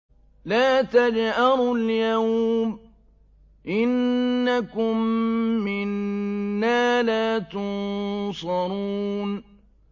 لَا تَجْأَرُوا الْيَوْمَ ۖ إِنَّكُم مِّنَّا لَا تُنصَرُونَ